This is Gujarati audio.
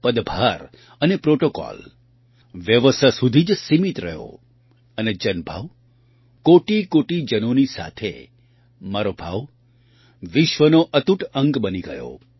પદભાર અને પ્રૉટૉકૉલ વ્યવસ્થા સુધી જ સીમિત રહ્યો અને જનભાવ કોટિકોટિ જનોની સાથે મારો ભાવ વિશ્વનો અતૂટ અંગ બની ગયો